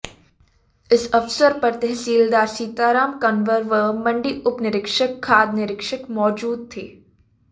इस अवसर पर तहसीलदार सीताराम कंवर व मंडी उप निरीक्षक खाद्य निरीक्षक मौजूद थे